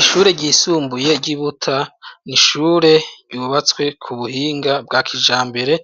Ishure ryisumbuye y'i Buta ni ishure yubatswe ku buhinga bwa kijambere